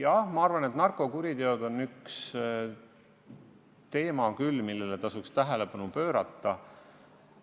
Jah, ma arvan, et narkokuriteod on üks teema küll, millele tasuks tähelepanu pöörata.